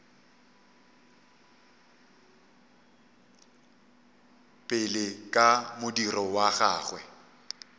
pele ka modiro wa gagwe